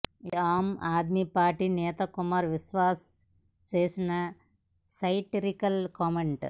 ఇది ఆమ్ ఆద్మీ పార్టీ నేత కుమార్ విశ్వాస్ చేసిన సెటైరికల్ కామెంట్